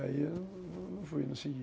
E aí, não fui, não segui